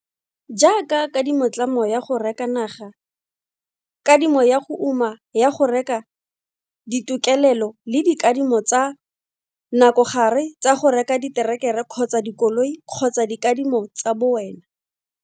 Jaaka kadimotlamo ya go reka naga, kadimo ya go uma ya go reka ditokelelo le dikadimo tsa nakogare tsa go reka diterekere kgotsa dikoloi kgotsa dikadimo tsa bowena.